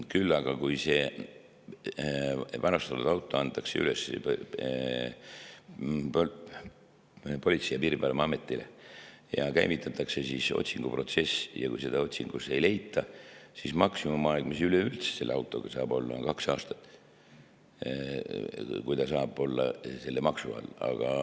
Küll aga, kui selle auto varastamisest antakse teada Politsei‑ ja Piirivalveametile ja käivitatakse otsinguprotsess ja seda otsingu tulemusel ei leita, siis maksimumaeg, mis üleüldse selle auto puhul saab olla, on kaks aastat, kui see saab olla selle maksu all.